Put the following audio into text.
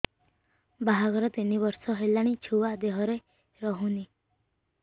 ବାହାଘର ତିନି ବର୍ଷ ହେଲାଣି ଛୁଆ ଦେହରେ ରହୁନି